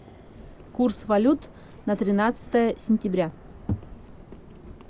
курс валют на тринадцатое сентября